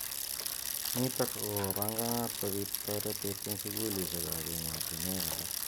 Nitok kopanganat kobit toretet eng sukulishek ab emotonwek alak.